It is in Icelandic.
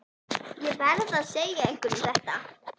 Ég verð að segja einhverjum þetta.